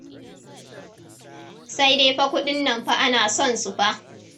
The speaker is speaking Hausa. Sai dai fa kuɗin nan fa ana son su fa.